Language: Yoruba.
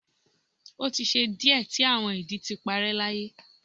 o ti ṣe diẹ ti awọn idi ti parẹ́ láyé